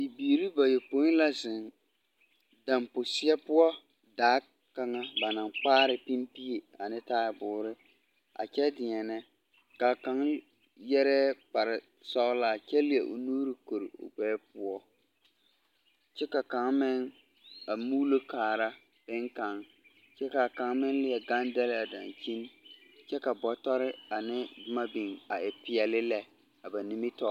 Bibiiri bayopoi la zeŋ damposeɛ poɔ daa kaŋa ba naŋ kpaare pimbie a non e taaboore a kyɛ deɛnɛ, ka kaŋa yarɛɛ kpare sɔglaa kyɛ leɛ o nuuri kori o gbɛɛ poɔ kyɛ ka kaŋa meŋ a muulo kaara beŋ kaŋ kyɛ ka kaŋ meŋ leɛ gaŋ dɛle a dankyiŋ kyɛ ka bɔtɔre ane boma biŋ a e peɛle lɛ. 13377